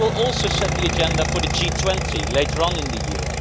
But this will also set the agenda for the G20 later on in the year.